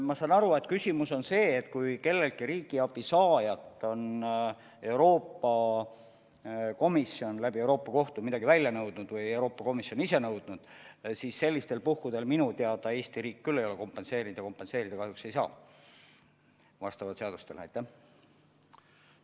Ma saan aru, et küsimus on selles, et kui kelleltki riigiabi saajalt on Euroopa Komisjon Euroopa Kohtu kaudu midagi välja nõudnud või on Euroopa Komisjon ise midagi nõudnud, siis sellistel puhkudel minu teada Eesti riik küll ei ole seda kompenseerinud ja vastavalt seadustele kahjuks ei saagi kompenseerida.